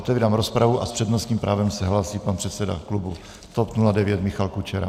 Otevírám rozpravu a s přednostním právem se hlásí pan předseda klubu TOP 09 Michal Kučera.